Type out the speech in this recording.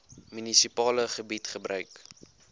munisipale gebied gebruik